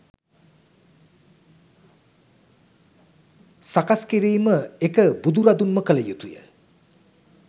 සකස් කිරීම එක බුදුරදුන්ම කළ යුතුය.